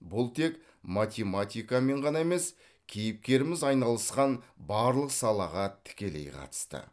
бұл тек математикамен ғана емес кейіпкеріміз айналысқан барлық салаға тікелей қатысты